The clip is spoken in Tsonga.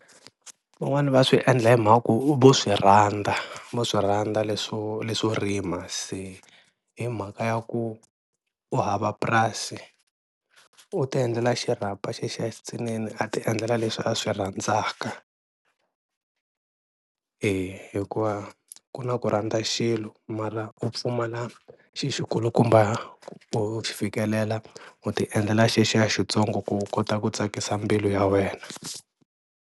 Van'wani va swi endla hi mhaka ku vo swi rhandza vo swi rhandza leswo leswo rima, se hi mhaka ya ku u hava purasi u ti endlela xirhapa xexiya xitsinini a ti endlela leswi a swi rhandzaka hi hikuva ku na ku rhandza xilo mara u pfumala xi xi kulukumba ku fikelela u ti endlela xexiya xitsongo ku u kota ku tsakisa mbilu ya wena.